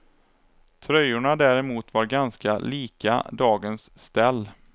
Tröjorna däremot var ganska lika dagens ställ.